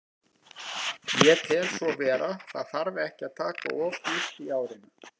Ég tel svo vera, það þarf ekki að taka of djúpt í árina.